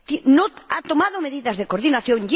No ha tomado medidas de coordinación.